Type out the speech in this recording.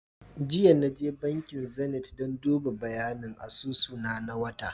Jiya Naje bankin Zenith dan duba bayanin asusu na, na wata